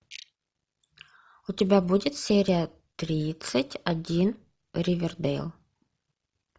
у тебя будет серия тридцать один ривердейл